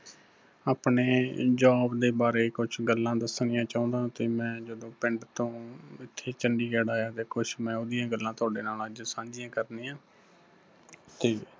ਆਪਣੇ job ਦੇ ਬਾਰੇ ਕੁੱਝ ਗੱਲਾਂ ਦਸਣੀਆਂ ਚਾਹੁੰਦਾ ਤੇ ਮੈਂ ਜਦੋਂ ਪਿੰਡ ਤੋਂ, ਇੱਥੇ ਚੰਡੀਗੜ੍ਹ ਆਇਆ ਤੇ ਕੁਝ ਮੈਂ ਉਹਦੀਆਂ ਗੱਲਾਂ ਤੁਹਾਡੇ ਨਾਲ ਅੱਜ ਸਾੰਝੀਆਂ ਕਰਣੀਆਂ, ਤੇ